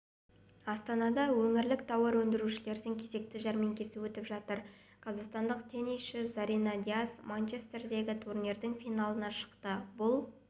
астанада өңірлік тауар өндірушілердің кезекті жәрмеңкесі өтіп жатыр қазақстандық теннисші зарина дияс манчестердегі турнирінің финалына шықты бұл